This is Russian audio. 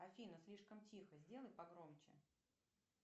афина слишком тихо сделай погромче